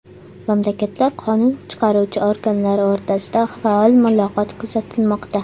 Mamlakatlar qonun chiqaruvchi organlari o‘rtasida faol muloqot kuzatilmoqda.